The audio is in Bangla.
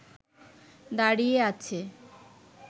দাঁড়িয়ে আছে